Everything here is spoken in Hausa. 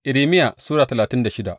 Irmiya Sura talatin da shida